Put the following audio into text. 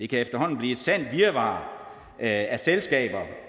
kan efterhånden blive et sandt virvar af selskaber